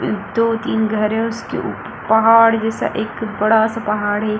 दो-तीन घर है उसके ऊपर पहाड़ जैसा एक-बड़ा सा पहाड़ है।